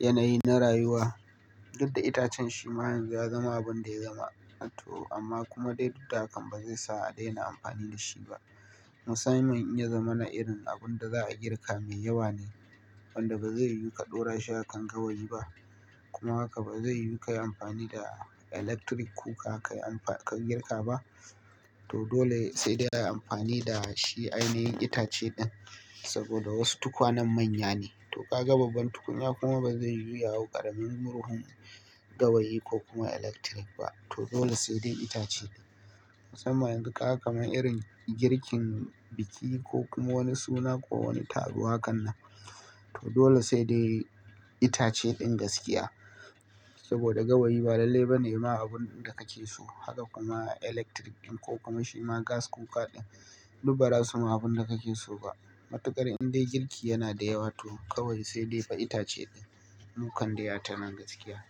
yanayi na rayuwa. Duk da itacen shi ma ya zama abin da ya zama to amma kuma dai duk da hakan ba zai sa a daina amfani da shi ba. Musamman in ya zama na irin abun da za a girka mai yawa ne wanda ba zai yiwu ka ɗora shi a kan gawayi ba kuma haka ba zai yiwu ka yi amfani da electric kuka ka yi amfa ka girka ba to dole sai dai a yi amfani da shi ainihin itace din saboda wasu tukwanen manya ne to ka gaba ban tukunya kuma ba zai yiwu ya hau ƙaramin murhun gawayi ko kuma electric ba to dole sai dai itace ne. Musamman duk haka kamar irin girkin biki ko kuma wani suna ko wani taruwa hakanan to dole sai dai itace din gaskiya saboda gawayi ba lalle ba ne ma abun da kake so haka kuma electric din ko kuma shi ma gas kuka din duk bara su ma abun da kake so ba. Matuƙar in dai girki yana da yawa to kawai sai dai fa itace din. Mu kan dai a ta nan gaskiya.